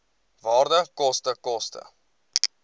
waarde koste koste